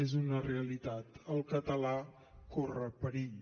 és una realitat el català corre perill